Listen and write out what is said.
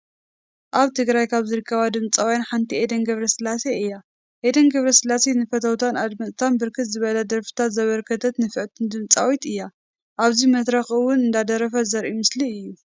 አብ ትግራይ ካብ ዝርከባ ድምፂውያን ሓንቲ ኤደን ገብረስላሴ እያ። ኤዴን ገብረስላሴ ንፈተውታን አድመፅታ ብርክት ዝበለ ደርፈታት ዘበርከተት ንፍዕተቲ ድምፂዊት እያ። አብዚ መድረክ እውን እናደረፈት ዘሪኢ ምስሊ እዩ።